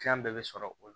bɛɛ bɛ sɔrɔ o la